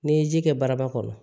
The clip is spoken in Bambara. N'i ye ji kɛ baraba kɔnɔ